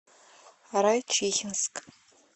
райчихинск